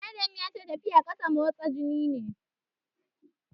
Adam ya ce tafiya a ƙasa motsa jiki ne.